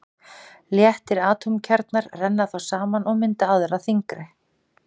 Léttir atómkjarnar renna þá saman og mynda aðra þyngri.